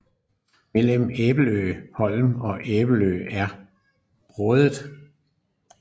Mellem Æbelø Holm og Æbelø er Brådet